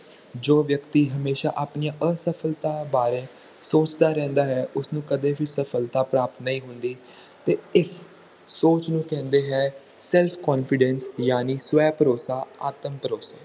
ਜੋ ਵਿਅਕਤੀ ਹਮੇਸ਼ਾ ਆਪਣੀ ਅਸਫਲਤਾ ਵਾਰੇ ਸੋਚਦਾ ਰਹਿੰਦਾ ਹੈ ਉਸਨੂੰ ਕਦੇ ਵੀ ਸਫਲਤਾ ਪ੍ਰਾਪਤ ਨਹੀਂ ਹੁੰਦੀ ਅਤੇ ਇਹ ਸੋਚ ਨੂੰ ਕਹਿੰਦੇ ਈ self confidence ਯਾਨੀ ਸਵੈ ਭਰੋਸਾ ਆਤਮ ਭਰੋਸਾ